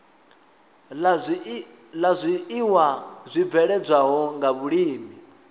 la zwiiwa zwibveledzwaho nga vhulimi